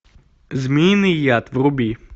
змеиный яд вруби